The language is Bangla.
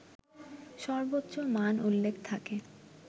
সর্বোচ্চ মান উল্লেখ থাকে